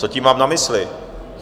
Co tím mám na mysli?